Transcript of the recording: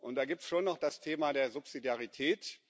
Da gibt es schon noch das Thema der Subsidiarität.